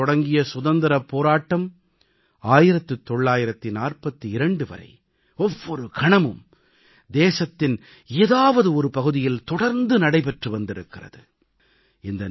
1857இல் தொடங்கிய சுதந்திரப் போராட்டம் 1942 வரை ஒவ்வொரு கணமும் தேசத்தின் ஏதாவது ஒரு பகுதியில் தொடர்ந்து நடைபெற்று வந்திருக்கிறது